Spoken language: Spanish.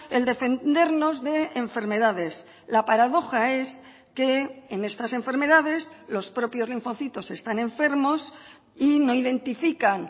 el defendernos de enfermedades la paradoja es que en estas enfermedades los propios linfocitos están enfermos y no identifican